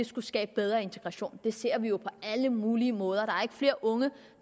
skulle skabe bedre integration vi ser jo på alle mulige måder er flere unge